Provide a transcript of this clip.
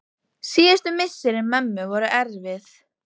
Síðustu misseri mömmu voru erfið.